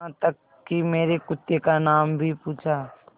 यहाँ तक कि मेरे कुत्ते का नाम भी पूछा